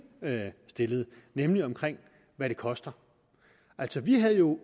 stillede nemlig om hvad det koster altså vi havde jo